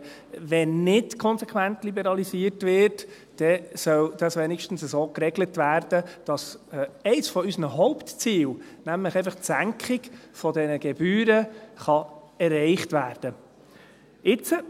Wenn nicht konsequent liberalisiert wird, dann soll das wenigstens so geregelt werden, dass eines unserer Hauptziele, nämlich die Senkung dieser Gebühren, erreicht werden kann.